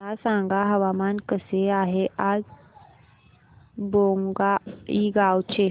मला सांगा हवामान कसे आहे आज बोंगाईगांव चे